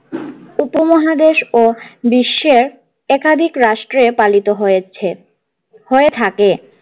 উপমহাদেশ ও বিশ্বের একাধিক রাষ্ট্রে পালিত হয়েছে হয়ে থাকে।